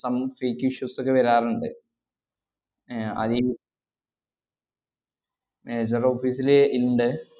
Some fake issues ഒക്കെ വരാറിണ്ട്. ഏർ അതിൽ ഏർ sir office ല് ഇണ്ട്